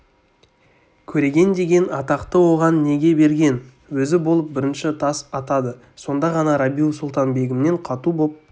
көреген деген атақты оған неге берген өзі болып бірінші тас атады сонда ғана рабиу-сұлтан-бегімнен қату боп